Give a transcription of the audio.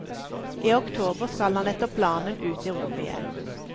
I oktober skal han etter planen ut i rommet igjen.